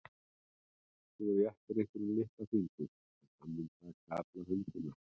Þú réttir einhverjum litla fingurinn en hann mun taka alla höndina.